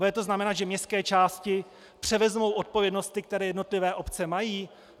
Bude to znamenat, že městské části převezmou odpovědnosti, které jednotlivé obce mají?